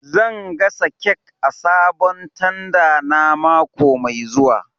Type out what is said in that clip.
Zan gasa kek a sabon tanda na mako mai zuwa